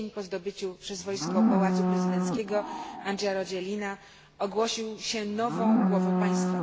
w dzień po zdobyciu przez wojsko pałacu prezydenckiego, Andry Rajoelina ogłosił się nową głową państwa.